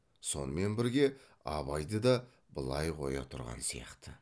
сонымен бірге абайды да былай қоя тұрған сияқты